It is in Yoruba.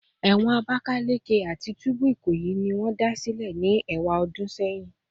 Ewon Abakaleke ati tubu Ikoyi ni won da sile ni ewadun seyin